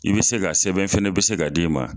I bɛ se k'a sɛbɛn fɛnɛ bɛ se k'a d'i ma.